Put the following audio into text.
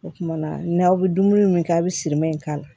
O kuma na n'aw bɛ dumuni min kɛ a bɛ sirimɛ in k'a la